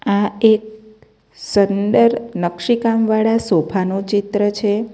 આ એક સુંદર નકશીકામવાળા સોફા નુ ચિત્ર છે.